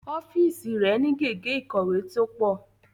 Ọ́fíìsì rẹ̀ ni gègé ìkọ̀wé tó pọ̀